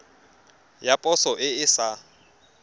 ya poso e e sa